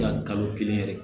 Dan kalo kelen yɛrɛ